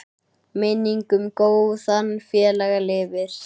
Minning um góðan félaga lifir.